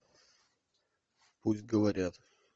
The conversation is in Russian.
пусть говорят